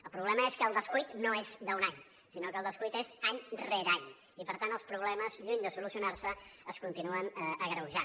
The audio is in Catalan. el problema és que el descuit no és d’un any sinó que el descuit és any rere any i per tant els problemes lluny de solucionar se es continuen agreujant